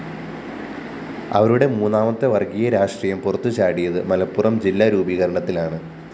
അവരുടെ മൂന്നാമത്തെ വര്‍ഗ്ഗീയ രാഷ്ട്രീയം പുറത്തുചാടിയത് മലപ്പുറം ജില്ലാ രൂപീകരണത്തിലാണ്